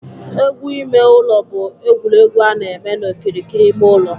Egwu ime ụlọ bụ egwuregwu a na-eme n'okirikiri ime ụlọ